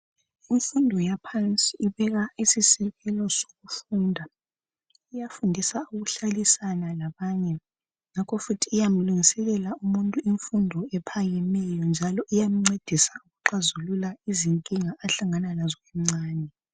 Imfundo yaphansi ibeka isisekelo sokufunda, iyafundisa ukuhlalisana labanye ngakho futhi iyamlungiselela umuntu imfundo ephakemeyo njalo iyamcedisa ukuxazulula izinkinga ahlangana lazo emcane.